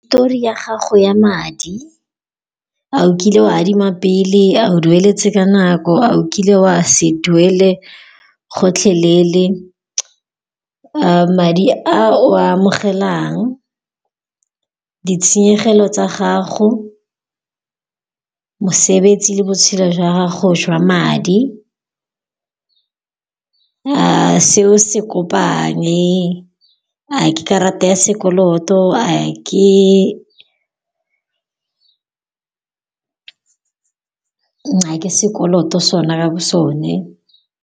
Histori ya gago ya madi, a o kile o adima pele, a o dueletse ka nako, a o kile o a se duele gotlhelele. Madi a o a amogelang, ditshenyegelo tsa gago, mosebetsi le botshelo jwa gago jwa madi, a seo se kopane, a ke karata ya sekoloto, a ke sekoloto sona bo sone.